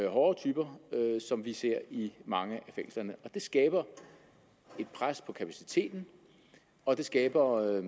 hårde typer som vi ser i mange af fængslerne det skaber et pres på kapaciteten og det skaber